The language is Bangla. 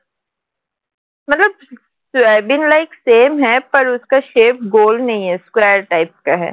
soybean like same shape square type